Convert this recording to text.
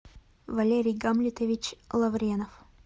валерий гамлетович лавренов